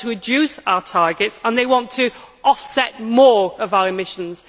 They want to reduce our targets and they want to offset more of our emissions.